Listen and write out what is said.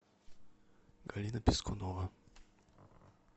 галина пискунова